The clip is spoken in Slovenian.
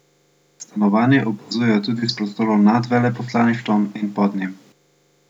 Stanovanje opazujejo tudi iz prostorov nad veleposlaništvom in pod njim.